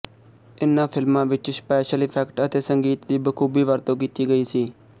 ਇਨ੍ਹਾਂ ਫਿਲਮਾਂ ਵਿੱਚ ਸਪੇਸ਼ਲ ਇਫੇਕਟ ਅਤੇ ਸੰਗੀਤ ਦੀ ਬਖੂਬੀ ਵਰਤੋਂ ਕੀਤੀ ਗਈ ਸੀ